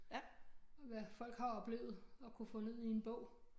Hvad folk har oplevet og kunne få ned i en bog